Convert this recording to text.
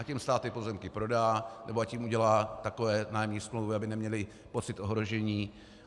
Ať jim stát ty pozemky prodá nebo ať jim udělá takové nájemní smlouvy, aby neměli pocit ohrožení.